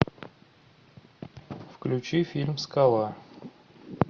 включи фильм скала